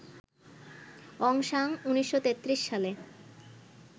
অং San ১৯৩৩ সালে